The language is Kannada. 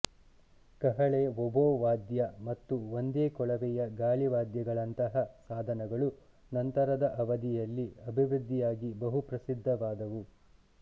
ಕಹಳೆ ಒಬೋ ವಾದ್ಯ ಮತ್ತು ಒಂದೇ ಕೊಳವೆಯ ಗಾಳಿವಾದ್ಯಗಳಂತಹ ಸಾಧನಗಳು ನಂತರದ ಅವಧಿಯಲ್ಲಿ ಅಭಿವೃದ್ಧಿಯಾಗಿ ಬಹುಪ್ರಸಿದ್ಧವಾದವು